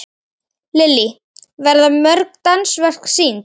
Lillý, verða mörg dansverk sýnd?